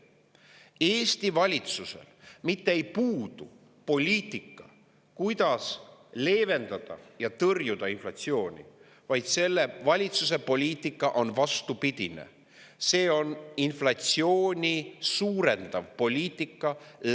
Eesti valitsusel puudub poliitika, kuidas leevendada ja tõrjuda inflatsiooni, selle valitsuse poliitika on lausa vastupidine: see on maksutõusudega inflatsiooni suurendav poliitika.